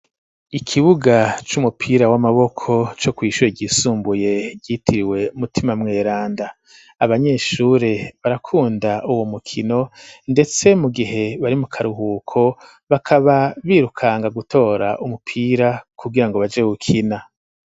Ikibuga c'umupira w'amaboko co kw'ishure igisumbuye gyitiriwe mutima mweranda abanyeshuri barakunda uwo mukino ndetse mu gihe bari mu karuhuko bakaba birukanga gutora umupira kugira ngo baje gukina.